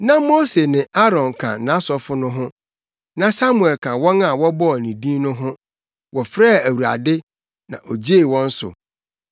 Na Mose ne Aaron ka nʼasɔfo no ho, na Samuel ka wɔn a wɔbɔɔ ne din no ho; wɔfrɛɛ Awurade, na ogyee wɔn so.